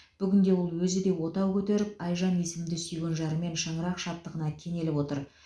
бүгінде ол өзі де отау көтеріп айжан есімді сүйген жарымен шаңырақ шаттығына кенеліп отыр